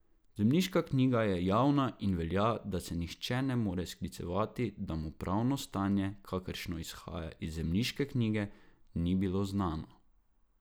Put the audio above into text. Zemljiška knjiga je javna in velja, da se nihče ne more sklicevati, da mu pravno stanje, kakršno izhaja iz zemljiške knjige, ni bilo znano.